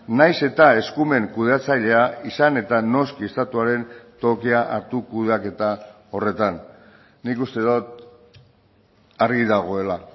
nahiz eta eskumen kudeatzailea izan eta noski estatuaren tokia hartu kudeaketa horretan nik uste dut argi dagoela